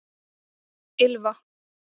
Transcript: Ylfa